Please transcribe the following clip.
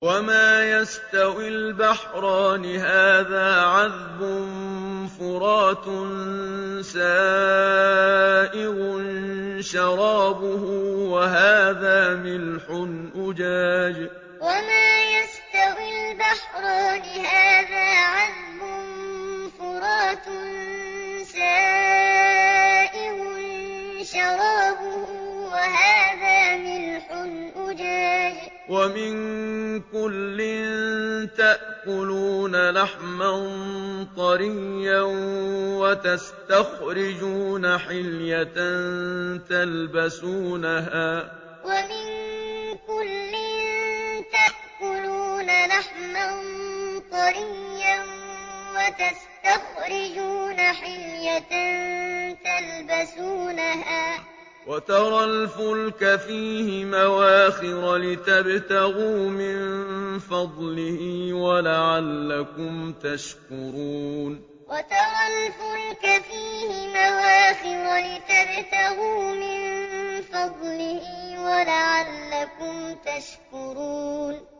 وَمَا يَسْتَوِي الْبَحْرَانِ هَٰذَا عَذْبٌ فُرَاتٌ سَائِغٌ شَرَابُهُ وَهَٰذَا مِلْحٌ أُجَاجٌ ۖ وَمِن كُلٍّ تَأْكُلُونَ لَحْمًا طَرِيًّا وَتَسْتَخْرِجُونَ حِلْيَةً تَلْبَسُونَهَا ۖ وَتَرَى الْفُلْكَ فِيهِ مَوَاخِرَ لِتَبْتَغُوا مِن فَضْلِهِ وَلَعَلَّكُمْ تَشْكُرُونَ وَمَا يَسْتَوِي الْبَحْرَانِ هَٰذَا عَذْبٌ فُرَاتٌ سَائِغٌ شَرَابُهُ وَهَٰذَا مِلْحٌ أُجَاجٌ ۖ وَمِن كُلٍّ تَأْكُلُونَ لَحْمًا طَرِيًّا وَتَسْتَخْرِجُونَ حِلْيَةً تَلْبَسُونَهَا ۖ وَتَرَى الْفُلْكَ فِيهِ مَوَاخِرَ لِتَبْتَغُوا مِن فَضْلِهِ وَلَعَلَّكُمْ تَشْكُرُونَ